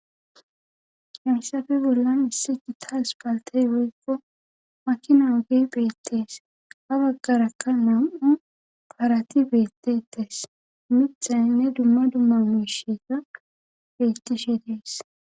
Hemssafe bollan issi gitta as paltey woykko makina wagey beettees ha baggarakka nam7u parati beettetes mixay ne dumma dumma mushega bettishe dees